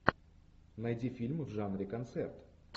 найди фильмы в жанре концерт